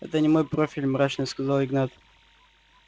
это не мой профиль мрачно сказал игнат